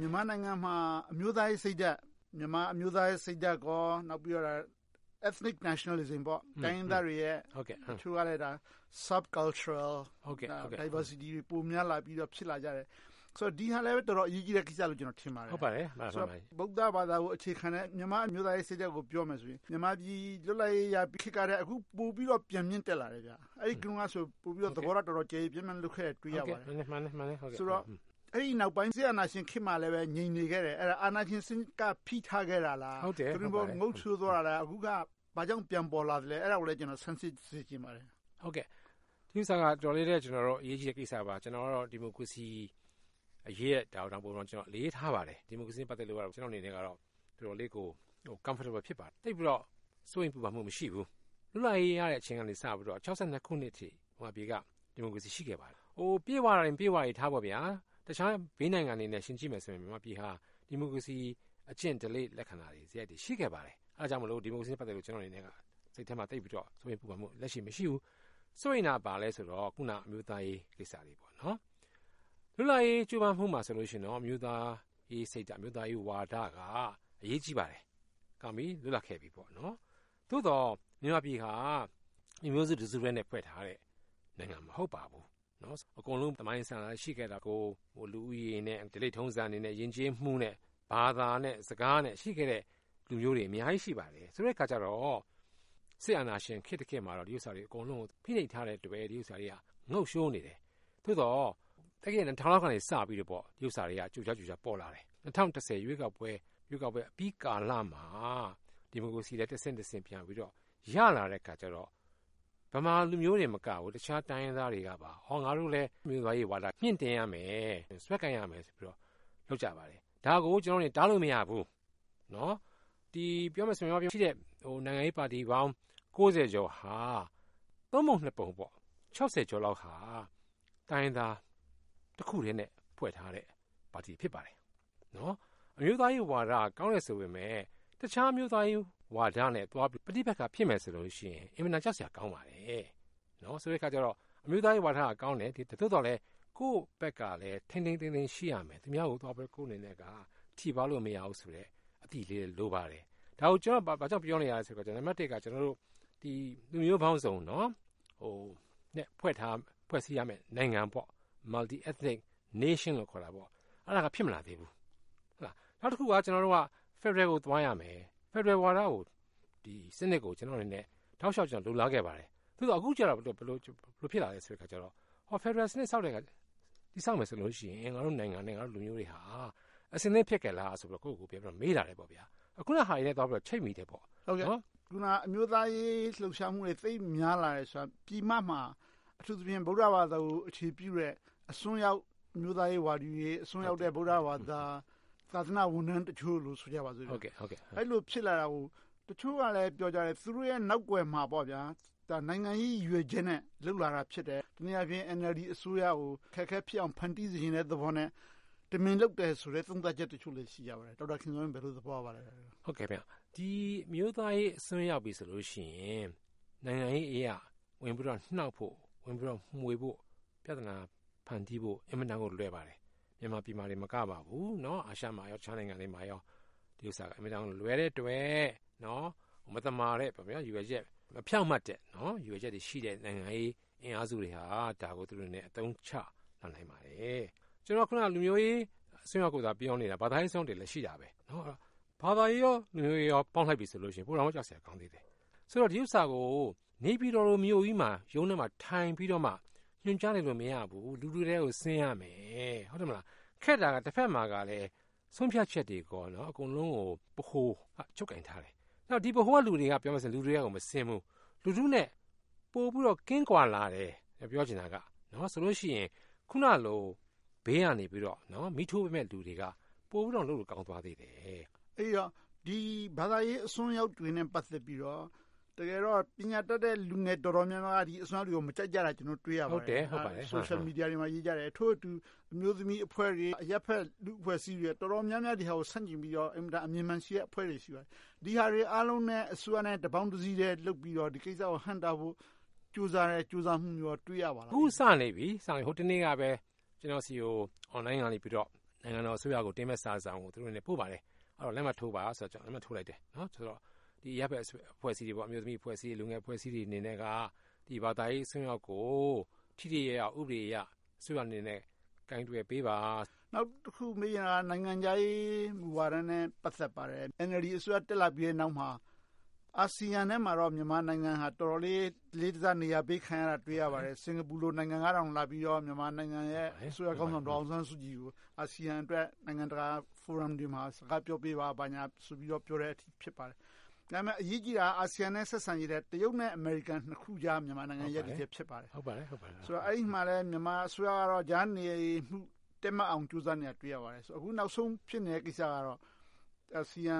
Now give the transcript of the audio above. မြန်မာနိုင်ငံမှာ မြန်မာအမျိုးသားရေးစိတ်ဓါတ်၊ Ethnic Nationalism တိုင်းရင်းသားတွေရဲ့ Sub-cultural Diversity ပိုများလာကြပြီး ဖြစ်လာကြတယ်။ ဒီဟာလဲ တော်တော်အရေးကြီးတဲ့ကိစ္စ ဖြစ်တယ်လို့ ထင်ပါတယ်။ ဗုဒ္ဓဘာသာကို အခြေခံတဲ့ မြန်မာ့အမျိုးသားရေး စိတ်ဓါတ်ကို ပြောရမယ်ဆိုရင် မြန်မာပြည် လွတ်လပ်ရေးရပြီးခေတ်ထက် အခု ပိုပြီးတော့ ပြန်မြင့်တက်လာတယ်။ ဟိုတုန်းကဆို သဘောထား တော်တော်ကျယ်ကျယ်ပြန့်ပြန့် ရှိခဲ့တယ်ဆိုတာကို တွေ့ရပါတယ်။ ဆိုတော့ အဲဒီနောက်ပိုင်း စစ်အာဏာရှင်ခေတ်မှာလည်း ငြိမ်နေခဲ့တယ်။ အာဏာရှင်စနစ်က ဖိထားခဲ့တာလား။ သို့တည်းမဟုတ် ငုပ်လျှိုသွားတာလား။ အခု ဘာကြောင့် ပြန်ပေါ်လာတာလဲ။ အဲဒါကို စမ်းစစ်စေချင်ပါတယ်။ ဒီကိစ္စက တော်တော်လေး အရေးကြီးတဲ့ကိစ္စပါ။ ကျနော်ကတော့ ဒီမိုကရေစီအရေးကို အတော်အလေးထားပါတယ်။ ဒီမိုကရေစီနဲ့ ပတ်သက်လို့ ကျနော့်အနေနဲ့ တော်တော်လေးကို Comfortable ဖြစ်ပါတယ်။ သိပ်ပြီးတော့ စိုးရိမ်ပူပန်မှု မရှိဘူး။ လွတ်လပ်ရေးရတဲ့ အချိန်ကနေ ၆၂ ခုနှစ်အထိ မြန်မာနိုင်ငံက ဒီမိုကရေစီ ရှိခဲ့ပါတယ်။ ပြည့်ဝတယ် မပြည့်ဝဘူးတွေထား၊ တခြားဘေးနိုင်ငံတွေနဲ့ ယှဉ်ကြည့်မယ်ဆိုရင် မြန်မာနိုင်ငံဟာ ဒီမိုကရေစီ အကျင့်ဓလေ့ လက္ခဏာတွေ ရှိခဲ့ပါတယ်။ ဒါကြောင့်မို့ ဒီမိုကရေစီနဲ့ ပတ်သက်လို့ ကျနော့်အနေနဲ့ စိတ်ထဲမှာ စိုးရိမ်ပူပန်မှု လက်ရှိ မရှိဘူး။ စိုးရိမ်တာ ဘာလဲဆိုတော့ အခုန အမျိုးသားရေးကိစ္စတွေ။ လွတ်လပ်ရေး ကြိုးပမ်းမှုမှာဆိုရင် အမျိုးသားရေးစိတ်ဓါတ်၊ အမျိုးသားရေး မူဝါဒက အရေးကြီးပါတယ်။ ဒါနဲ့ လွတ်လပ်ခဲ့တယ်။ သို့သော် မြန်မာပြည်ဟာ လူမျိုးစုတစုတည်းနဲ့ ဖွဲ့ထားတဲ့ နိုင်ငံ မဟုတ်ပါဘူး။ အကုန်လုံး သမိုင်းအစဉ်အလာ ရှိခဲ့တာကို လူဦးရေးနဲ့၊ ဓလေ့ထုံးတမ်းတွေနဲ့၊ ယဉ်ကျေးမှုနဲ့ ဘာသာနဲ့ စကားတွေ ရှိခဲ့တဲ့ လူမျိုးတွေ အများကြီး ရှိပါတယ်။ ဆိုတဲ့အခါကြတော့ စစ်အာဏာရှင် ခေတ်တခေတ်မှာတော့ ဒီကိစ္စတွေ အကုန်လုံးကို ဖိနှိပ်ထားတဲ့အတွက် ငုပ်လျှိုနေတယ်။ သို့သော် သက္ကရာဇ် ၂၀၀၀ က စပြီးတော့ ဒီဥစ္စာတွေက ကြိုကြားကြိုကြား ပေါ်လာတယ်။ ၂၀၁၀ ရွေးကောက်ပွဲအပြီးကာလမှာ ဒီမိုကရေစီက တဆင့်တဆင့် ပြန်ပြီးတော့ ရလာတဲ့အခါကြတော့ ဗမာလူမျိုးတွေ မကဘူး တိုင်းရင်းသားတွေက ငါတို့လည်း အမျိုးသားရေးဝါဒ မြှင့်တင်ရမယ်။ ဆွဲကိုင်ရမယ်ဆိုပြီးတော့ လုပ်ကြပါတယ်။ ဒါကို ကျနော့်တို့အနေနဲ့ တားလို့မရဘူး။ ပြောမယ်ဆိုရင် မြန်မာပြည်ရဲ့ နိုင်ငံရေးပါတီပေါင်း ကျော်ဟာ ပုံ ပုံ ကျော်လောက်ဟာ တိုင်းရင်းသားတခုတည်းနဲ့ ဖွဲ့ထားတဲ့ ပါတီတွေ ဖြစ်ပါတယ်။ အမျိုးသားရေးဝါဒ ကောင်းတယ်ဆိုပေမယ့် တခြားအမျိုးသားရေးဝါဒနဲ့ ပဋိပက္ခ ဖြစ်မယ်ဆိုလို့ရှိရင် အင်မတန် ရှက်စရာ ကောင်းပါတယ်။ ဆိုတဲ့အခါကြတော့ အမျိုးသားရေးဝါဒက ကောင်းတယ်။ သို့သော်လဲ ကိုယ့်ဘက်ကလဲ ထိန်းထိန်းသိမ်းသိမ်း ရှိရမယ်။ သူများကိုသွားပြီး ကိုယ့်အနေနဲ့က ထိပါးလို့ မရဘူးဆိုတဲ့ အသိလေးလည်း လိုပါတယ်။ ဒါကို ဘာကြောင့်ပြောနေရလဲဆိုတော့ နံပတ်တစ်က လူမျိုးပေါင်းစုံ ဖွဲ့စည်းရမယ့် နိုင်ငံ - Multi Ethinic Nation လို့ ခေါ်မှာပေါ့။ အဲဒါက ဖြစ်မလာသေးဘူး။ နောက်တခုက ကျနော်တို့က ဖယ်ဒရယ်ကို သွားရမယ်။ ဖယ်ဒရယ်စနစ်ကိုတော့ တောက်လျှောက် လိုလားခဲ့ပါတယ်။ သို့သော် အခုကြတော့ ဘယ်လို ဖြစ်လာလဲဆိုတော့ ဖယ်ဒရယ်စနစ် တည်ဆောက်မယ်ဆိုရင် ကျနော်တို့နိုင်ငံက လူမျိုးတွေဟာ အဆင်သင့် ဖြစ်ရဲ့လားလို့ ကိုယ့်ကိုယ်ကိုယ် ပြန်ပြီးတော့ မေးလာတယ်။ အခုဟာတွေနဲ့ သွားပြီးတော့ ချိတ်မိတယ်ပေါ့။ ဒီမှာ အမျိုးသားရေး လှုပ်ရှားမှုတွေ သိပ်များလာတယ်ဆိုတာ ပြည်မမှာ အထူးသဖြင့် ဗုဒ္ဓဘာသာကို အခြေပြုတဲ့ အစွန်းရောက် အမျိုးသားရေးဝါဒီတွေ၊ အစွန်းရောက်တဲ့ ဗုဒ္ဓဘာသာ သာသနာဝန်ထမ်းတချို့တို့ ဆိုကြပါစို့။ အဲဒီလို ဖြစ်လာတာကို တချို့ကလဲ သူတို့နောက်ကွယ်မှာ နိုင်ငံရေး ရည်ရွယ်ချက်နဲ့ လုပ်လာတာ ဖြစ်တယ်။ တနည်းအားဖြင့် NLD အစိုးရကို အခက်အခဲ ဖြစ်အောင် ဖန်တီးစေလိုတဲ့သဘောနဲ့ တမင်လုပ်တယ်ဆိုတဲ့ သုံးသပ်ချက်တချို့လဲ ရှိကြပါတယ်။ ဘယ်လို သဘောရပါလဲ။ အမျိုးသားရေး အစွန်းရောက်ပြီဆိုရင် နိုင်ငံရေးအရ ဝင်ပြီးတော့ နှောင့်ဖို့၊ ဝင်ပြီးတော့ မွှေးဖို့၊ ပြဿနာ ဖန်တီးဖို့ အင်မတန်ကို လွယ်ပါတယ်။ မြန်မာပြည်မှာတင် မကပါဘူး အာရှ နဲ့ တခြားနိုင်ငံတွေမှာ ဒီဥစ္စာက အင်မတန် လွယ်တဲ့အတွက် မသမာတဲ့ ရည်ရွယ်ချက်၊ မဖြောင့်မတ်တဲ့ ရည်ရွယ်ချက်တွေရှိတဲ့ နိုင်ငံရေး အင်အားစုတွေက ဒါကို သူတို့အနေနဲ့ အသုံးချလာနိုင်ပါတယ်။ ကျနော်တို့ အခုန လူမျိုးရေး အစွန်းရောက်တွေကိုသာ ပြောနေတာ၊ ဘာသာရေး အစွန်းရောက်တွေလည်း ရှိတယ်။ ဘာသာရေး၊ လူမျိုးရေးတို့ကို ပေါင်းလိုက်ပြီဆိုရင် ပိုလို့တောင် ကြောက်စရာ ကောင်းသေးတယ်။ ဆိုတော့ ဒီဥစ္စာကို နေပြည်တော်လို့ မြို့ကြီး ရုံးထဲမှာ ထိုင်ပြီးတော့ ညွှန်းကြားနေလို့ မရဘူး။ လူတွေထဲကို ဆင်းရမယ်။ ခက်တာက တဘက်မှာကလဲ ဆုံးဖြတ်ချက်တွေ အကုန်လုံးကို ဗဟိုက ချုပ်ကိုင်ထားတယ်။ ပြောမယ်ဆိုရင် ဗဟိုက လူတွေက ပြောမယ်ဆိုရင် လူထဲကို မဆင်းဘူး။ လူထုနဲ့ ပိုပြီးတော့ ကင်းကွာလာတယ်။ ဆိုလို့ရှိရင် အခုနလို ဘေးကနေ မီးထိုးပေးမယ့် လူတွေက ပိုပြီးတော့ လုပ်လို့ ကောင်းသွားသေးတယ်။ အဲဒီတော့ ဒီ ဘာသာရေး အစွန်းရောက်တွေနဲ့ ပတ်သက်ပြီးတော့ တကယ်တော့ ပညာတတ်တဲ့ လူငယ်တော်တော်များများက ဒီအစွန်းရောက်တွေကို မကြိုက်ကြတာကို တွေ့ရပါတယ်။ Social Media တွေမှာ ရေးကြတယ်။ ထို့အတူ အမျိုးသမီးအဖွဲ့တွေ၊ အရပ်ဖက်လူ့အဖွဲ့အစည်းတွေ အတော်များများက ဒီဟာကို ဆန့်ကျင်ပြီးတော့ အင်မတန် အမြင်မှန်ရှိတဲ့အဖွဲ့တွေ ရှိပါတယ်။ ဒီဟာတွေအားလုံးနဲ့ အစိုးရ တပေါင်းတစည်းထဲ လုပ်ပြီးတော့ ဒီကိစ္စကို ဟန့်တားဖို့ ကြိုးစားတဲ့ ကြိုးစားမှုမျိုး တွေ့ရပါလား။ အခု စလိုက်ပြီ။ ဟိုတနေ့ကပဲ ကျနော်ဆီကို Online ကနေ နိုင်ငံတော်အစိုးရကို တင်မယ့်စာကို သူတို့အနေနဲ့ ပို့ပါတယ်။ အောက်က လက်မှတ်ထိုးပါဆိုလို့ ကျနော် လက်မှတ်ထိုးလိုက်တယ်။ အရပ်ဖက်လူ့အဖွဲ့အစည်းတွေ - အမျိုးသမီးအဖွဲ့အစည်း၊ လူငယ်အဖွဲ့အစည်းတွေအနေနဲ့က ဘာသာရေးအစွန်းရောက်တွေကို ထိထိရောက်ရောက် ဥပဒေအရ အစိုးရအနေနဲ့ ကိုင်တွယ်ပေးပါ။ နောက်တခု မေးချင်တာက နိုင်ငံခြားရေး မူဝါဒနဲ့ ပတ်သက်ပါတယ်။ NLD အစိုးရ တက်လာပြီးနောက်မှာ အာဆီယံထဲမှာတော့ မြန်မာနိုင်ငံဟာ အတော်လေး အလေးထားနေရာပေးခံရတာကို တွေ့ရပါတယ်။ စင်္ကာပူလို နိုင်ငံကတောင် လာပြီးတော့ မြန်မာနိုင်ငံရဲ့ အစိုးရခေါင်းဆောင် ဒေါ်အောင်ဆန်းစုကြည်ကို အာဆီယံအတွက်၊ နိုင်ငံတကာ Forum တွေမှာ စကားပြောပေးပါ၊ ဘာညာဆိုပြီး ပြောတဲ့အထိ ဖြစ်ပါတယ်။ ဒါပေမဲ့ အရေးကြီးတာက အာဆီယံနဲ့ ဆက်ဆံရေးထက် တရုတ် နဲ့ အမေရိကန် နှစ်ခုကြား မြန်မာနိုင်ငံ ရပ်တည်ချက် ဖြစ်ပါတယ်။ အဲဒီမှာ မြန်မာအစိုးရက ကြားနေမှု တည်မတ်အောင် ကြိုးစားနေတာကို တွေ့ရပါတယ်။ အခုနောက်ဆုံး ဖြစ်နေတဲ့ကိစ္စကတော့ အာဆီယံ